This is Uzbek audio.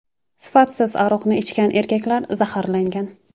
Sifatsiz aroqni ichgan erkaklar zaharlangan.